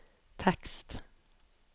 tekst